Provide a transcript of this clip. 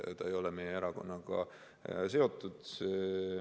Ta ei ole meie erakonnaga seotud.